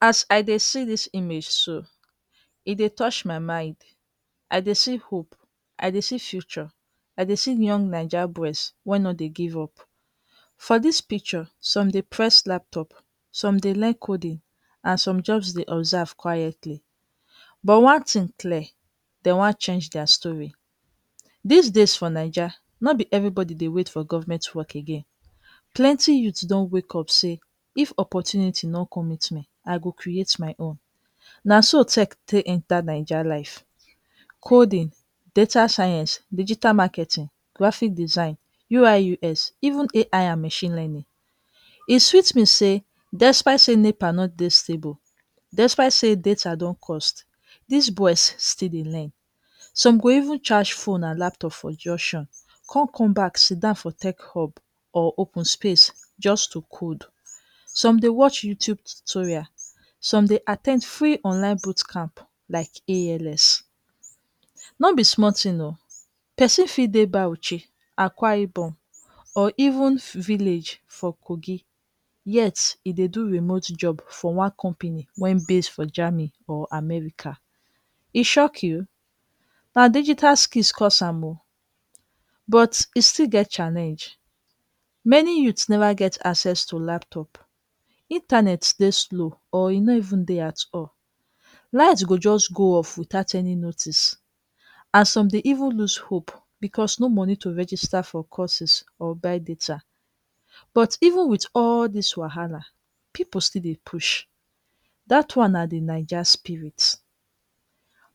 As I dey see this image so, he dey touch my mind, I dey see hope, I dey see future, I dey see young Naija boys wey no dey give up. For this picture, some dey press laptop, some dey learn coding, and some just dey observe quietly. But one thing clear, they wan change their story. These days for naija, no be everybody dey wait for government work again. Plenty youth don wake up say if opportunity no come meet me, I go create my own. Naso, tech take enter naija life. Coding, Data science, Digital Marketing, Graphics Design, UI/Ux, even AI and Machine Learning. He sweet me say despite NEPA no dey stable, despite say Data don Cost. These boys still dey learn. Some go even charge phone and laptop for junction, dey watch free YouTube tutorial, Con come back sit down for tech hub or open space just to code. Some dey watch YouTube tutorial, some dey at ten d free online podcast, like Alx. No be small thing o, person fit dey Bauchi, Akwa Ibom, or even village for Kogi yet e dey do remote job for one company wey based for Germany or American. He shock you, na digital skills cause am, but he still get challenge. Many youths never get access to laptop, internet dey slow or e no even dey at all, light go just go off without any notice, and some dey even loose hope, because no money to register for courses or even buy data. But even with all these wahala people still dey push. That one na the naija spirit.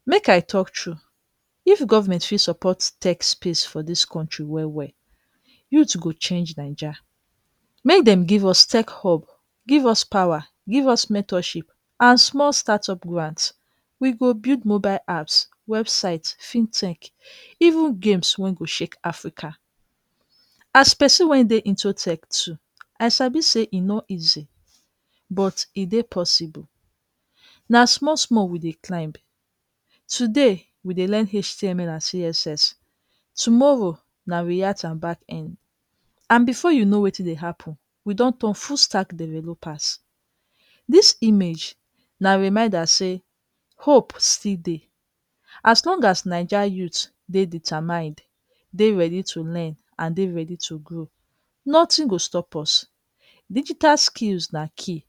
Make I talk true, if government fit support tech space for this country well well, youth go change Naija. Make dem give us tech hub, give us power, give us mentorship, and small start up growers. We go buy Mobile Apps, websites, Fintech, even Games wey go shake Africa. As person wey dey into tech too, I sabi say e no easy but he dey possible, na small small we dey climb. Today we dey learn HTML and CSS, tomorrow na REACT and backend, and before you know wetin dey happen we don become Stack Developers. This image na reminder say HOPE STILL DEY. As long as naija youth dey determine, dey ready to learn and dey ready to grow. Nothing go stop us. Digital skills na key.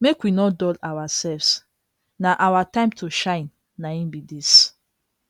make we no dull ourselves na our time to shine like this.